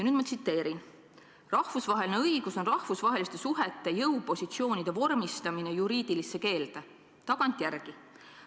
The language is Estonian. Nüüd ma tsiteerin: "Rahvusvaheline õigus on rahvusvaheliste suhete jõupositsioonide vormistamine juriidilisse keelde, tagantjärgi.